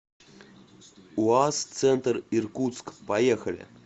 уаз центр иркутск поехали